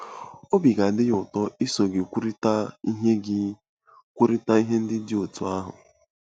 Obi ga-adị ya ụtọ iso gị kwurịta ihe gị kwurịta ihe ndị dị otú ahụ.